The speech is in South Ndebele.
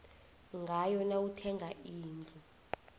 ngayo nawuthenga indlu